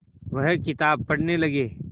वह किताब पढ़ने लगे